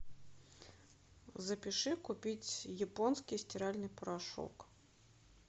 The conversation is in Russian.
запиши купить японский стиральный порошок